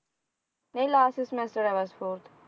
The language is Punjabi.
ਨਹੀਂ last semester ਆ ਬਸ fourth